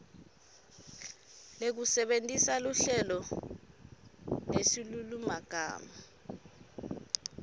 lekusebentisa luhlelo nesilulumagama